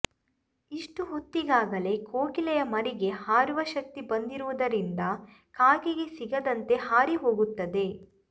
ಇಷ್ಟು ಹೊತ್ತಿಗಾಗಲೇ ಕೋಗಿಲೆಯ ಮರಿಗೆ ಹಾರುವ ಶಕ್ತಿ ಬಂದಿರುವುದರಿಂದ ಕಾಗೆಗೆ ಸಿಗದಂತೆ ಹಾರಿ ಹೋಗುತ್ತದೆ